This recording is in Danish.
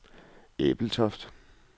Ebeltoft